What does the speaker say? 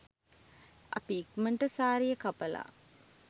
අපි ඉක්මනට සාරිය කපලා